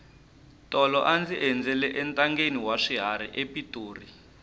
tolo a ndzi endzela entangheni wa swiharhi epitori